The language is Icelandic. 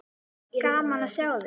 Gaman að sjá þig.